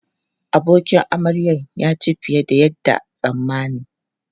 Abokin amaryan ya ci fiye da yadda tsammani.